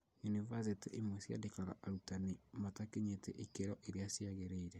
Yunibathĩtĩ imwe ciandĩkaga arutani matakinyitie ikĩro iria ciagĩrĩire